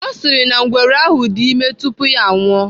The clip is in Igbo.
Ọ sịrị na ngwere ahụ dị ime tupu ya anwụọ.